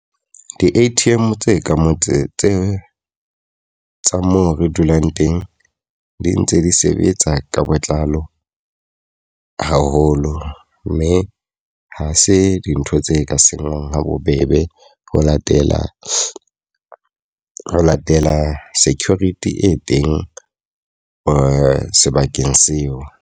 Di-A_T_M tse ka motseng tse tsa moo re dulang teng di ntse di sebetsa ka botlalo haholo. Mme ha se dintho tse ka senywang ha bobebe ho latela latela security e teng sebakeng seo.